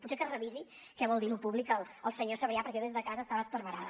potser que revisi què vol dir lo públic el senyor sabrià perquè jo des de casa estava esparverada